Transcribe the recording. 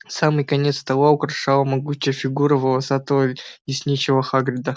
а самый конец стола украшала могучая фигура волосатого лесничего хагрида